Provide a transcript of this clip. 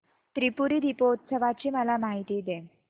त्रिपुरी दीपोत्सवाची मला माहिती दे